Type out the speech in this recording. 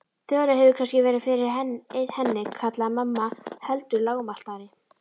Þura hefur kannski verið fyrir henni kallaði mamma heldur lágmæltari.